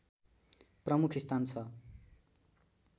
प्रमुख स्थान छ